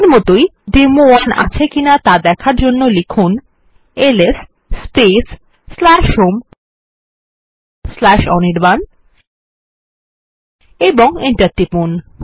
আগের মতই ডেমো1 আছে কিনা দেখার জন্য লিখুন এলএস হোম অনির্বাণ এবং এন্টার টিপুন